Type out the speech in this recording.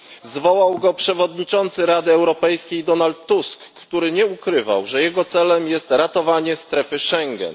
Zwołał go przewodniczący Rady Europejskiej Donald Tusk, który nie ukrywał, że jego celem jest ratowanie strefy Schengen.